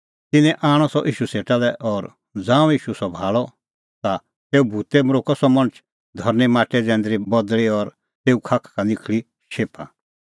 तिन्नैं आणअ सह ईशू सेटा लै और ज़ांऊं ईशू सह भाल़अ ता तेऊ भूतै मरोक्कअ सह मणछ धरनीं माटै जैंदरी बदल़ी और तेऊए खाखा का निखल़ी शेफा